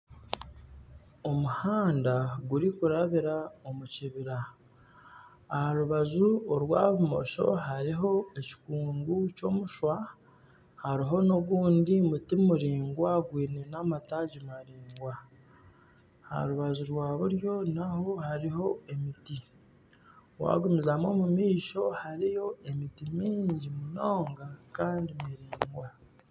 Omuhanda guri kurabira omu kibira. Aha rubaju orwa bumosho hariho ekikungu ky'omushwa hariho n'ogundi muti muraingwa gwine amtaagi maraingwa aha rubaju rwa buryo naho hariho emiti. Waagumizamu omu maisho hariyo emiti mingi munonga kandi miraingwa.